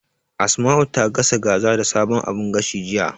Asma'u ta gasa kaza da sabon abun gashin, jiya.